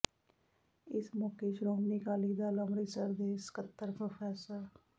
ਇਸ ਮੌਕੇ ਸ਼੍ਰੋਮਣੀ ਅਕਾਲੀ ਦਲ ਅੰਮ੍ਰਿਤਸਰ ਦੇ ਸਕੱਤਰ ਪ੍ਰੋ